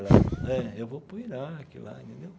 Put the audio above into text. É, eu vou para o Iraque lá entendeu?